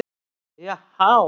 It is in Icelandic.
Já há!